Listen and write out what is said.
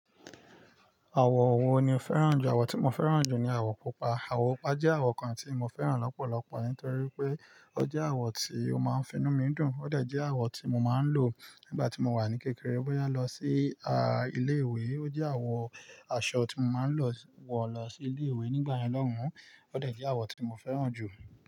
Àwọ̀ wo ni o fẹ́ràn jù? Àwọ̀ tí mo fẹ́ràn jù ni àwọ̀ pupa. Àwọ̀ pupa jẹ́ àwọ̀ kan tí mo fẹ́ràn lọ́pọ̀lọpọ̀ nítorí pé ó jẹ́ àwọ̀ tí ó máa ń finú mi dùn. Ó de je awo tí mo máa ń lò nígbà tí mo wà ní kékeré bóyá lọ sí a ilé ìwé. Ó jẹ́ àwọ̀ aṣọ tí mo máa ń lọ wọ̀ lọ sí ilé ìwé nígbà yen lọ́hùn. Ó de je awo tí mo fẹ́ràn jù.